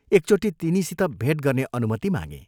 तिनीसित भेट गर्ने अनुमति मागें।